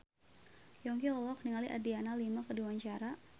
Yongki olohok ningali Adriana Lima keur diwawancara